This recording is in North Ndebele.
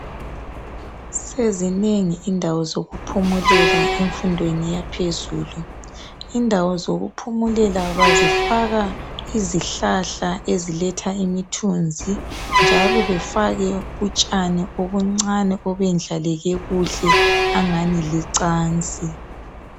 sezinengi indawo zokuphumulela emfundweni yaphezulu indawo zokuphumulela bazifaka izihlahla eziletha imithunzi njalo befake utshani obuncane obuyendlaleke kuhle angani licansi